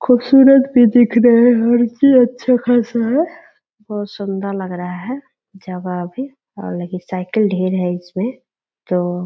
खूबसूरत भी दिख रहे हैं अच्छा खासा है | बहुत सुंदर लग रहा है जवा भी और लेडीज साइकिल ढेर है इसमें | तो --